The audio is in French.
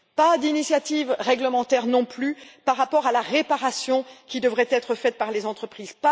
Pas d'initiatives réglementaires non plus par rapport à la réparation qui devrait être faite par les entreprises.